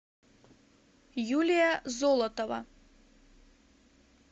юлия золотова